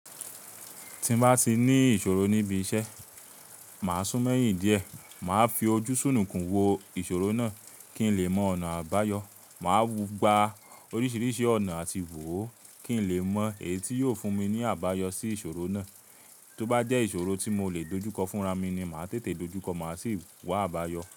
Tí n bá ti ní ìṣòro níbi iṣẹ́, màá súnmeyin díẹ̀. Màá fi ojúṣúnnunkún wo ìṣòro náà kí n lè mọ ọ̀nà àbáyọ. Màá mùgbà oríṣiríṣi ọ̀nà àti wò ó kí n lè mọ èyí tí yóò fún mi ní àbáyọ sí ìṣòro náà. Tóbá jẹ́ ìṣòro tí mò lè dojúkọ fúnra mi ni, màá tètè dojúkọ, màá sì wá àbáyọ.